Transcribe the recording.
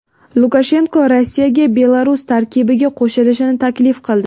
Lukashenko Rossiyaga Belarus tarkibiga qo‘shilishni taklif qildi.